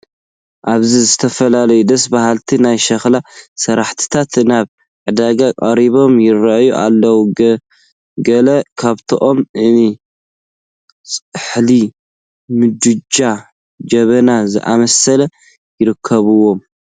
ኣብዚ ዝተፈላለዩ ደስ በሃልቲ ናይ ሸክላ ስራሕቲታት ናብ ዕዳጋ ቀሪቦም ይርአዩ ኣለዉ፡፡ ገለ ካብኣቶም እኒ ፃሕሊ፣ ምድጃን ጀበና ዝኣምሰሉ ይርከብዎም፡፡